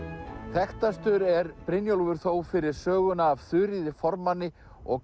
þekktastur er Brynjólfur þó fyrir söguna af Þuríði formanni og